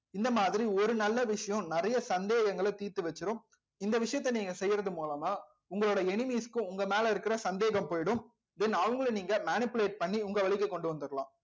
இந்த மாதிரி ஒரு நல்ல விஷயம் நிறைய சந்தேகங்களை தீர்த்து வச்சிரும் இந்த விஷயத்த நீங்க செய்யறது மூலமா உங்களோட enemies க்கும் உங்க மேல இருக்கிற சந்தேகம் போயிடும் then அவங்களை நீங்க manipulate பண்ணி உங்க வழிக்கு கொண்டு வந்துரலாம்